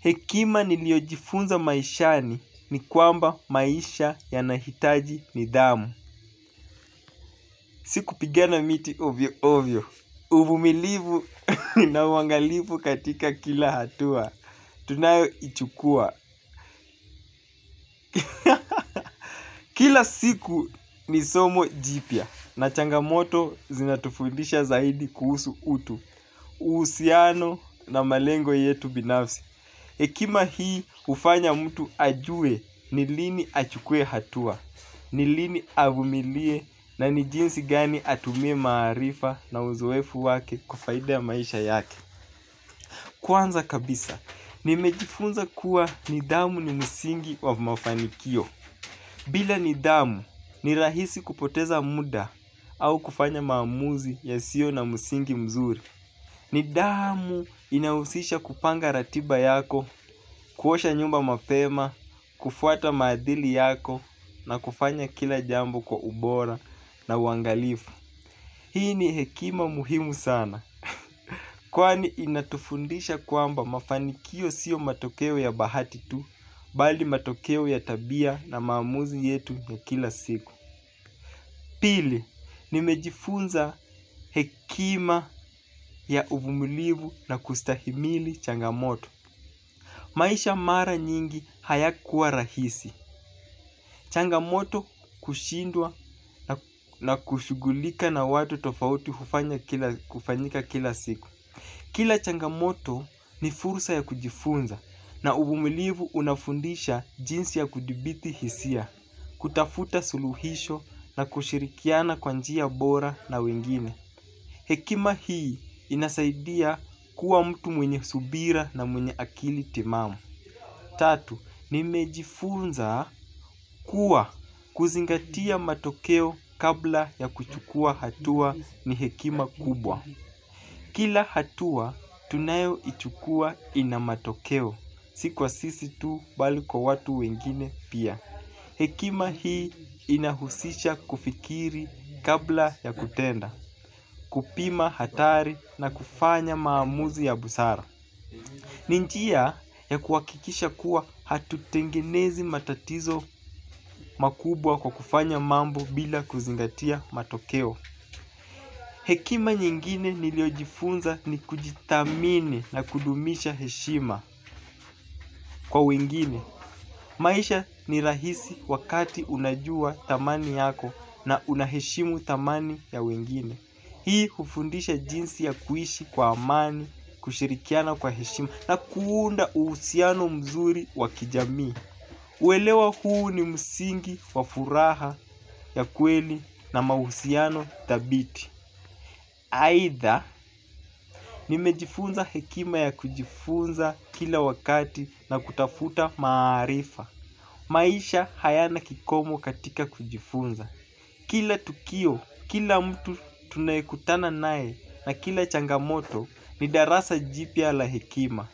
Hekima nilio jifunza maishani ni kwamba maisha yanahitaji nidhamu. Siku pigana miti ovyo ovyo. Uvumilivu na uwangalivu katika kila hatua. Tunayo ichukua. Kila siku ni somo jipya. Na changamoto zinatufundisha zaidi kuhusu utu. Uhusiano na malengo yetu binafsi. Hekima hii ufanya mtu ajue ni lini achukue hatua, nilini avumilie na nijinsi gani atumie maarifa na uzuefu wake kwa faida ya maisha yake. Kwanza kabisa, nimejifunza kuwa nidhamu ni msingi wa mafanikio. Bila nidhaamu ni rahisi kupoteza muda au kufanya maamuzi yasio na msingi mzuri. Nidamu inausisha kupanga ratiba yako, kuosha nyumba mapema, kufuata madhili yako na kufanya kila jambo kwa ubora na uwangalifu. Hii ni hekima muhimu sana. Kwani inatufundisha kwamba mafanikio sio matokeo ya bahati tu, bali matokeo ya tabia na maamuzi yetu ya kila siku. Pili, nimejifunza hekima ya uvumilivu na kustahimili changamoto. Maisha mara nyingi hayakuwa rahisi. Changamoto kushindwa la kushugulika na watu tofgauti hufanyika kila siku. Kila changamoto ni fursa ya kujifunza na uvumilivu unafundisha jinsi ya kudibiti hisia. Kutafuta suluhisho na kushirikiana kwa njia bora na wengine. Hekima hii inasaidia kuwa mtu mwenye subira na mwenye akili timamu. Tatu, nimejifunza kuwa kuzingatia matokeo kabla ya kuchukua hatua ni hekima kubwa. Kila hatua tunayo ichukua inamatokeo. Si kwa sisi tu bali kwa watu wengine pia. Hekima hii inahusisha kufikiri kabla ya kutenda, kupima hatari na kufanya maamuzi ya busara. Ni njia ya kuwakikisha kuwa hatutengenezi matatizo makubwa kwa kufanya mambo bila kuzingatia matokeo. Hekima nyingine niliojifunza ni kujithamini na kudumisha heshima. Kwa wengine, maisha ni rahisi wakati unajua thamani yako na unaheshimu thamani ya wengine. Hii ufundisha jinsi ya kuishi kwa amani, kushirikiana kwa heshima na kuunda uhusiano mzuri wakijamii. Uwelewa huu ni msingi wa furaha ya kweli na mahusiano thabiti. Aidha nimejifunza hekima ya kujifunza kila wakati na kutafuta maarifa. Maisha hayana kikomo katika kujifunza. Kila tukio, kila mtu tunayekutana nae na kila changamoto ni darasa jipya la hekima.